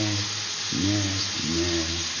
Net, net, net.